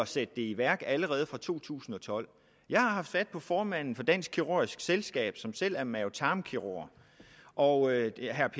sætte det i værk allerede fra 2012 jeg har haft fat i formanden for dansk kirurgisk selskab som selv er mave tarm kirurg og